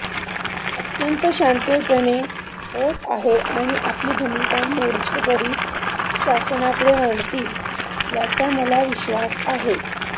अत्यंत शांततेने होत आहे आणि आपली भूमिका मोर्चेकरी शासनाकडे मांडतील याचा मला विश्वास आहे